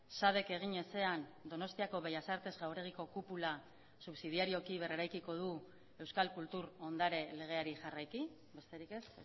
sadek egin ezean donostiako bellas artes jauregiko kupula subsidiarioki berreraikiko du euskal kultur ondare legeari jarraiki besterik ez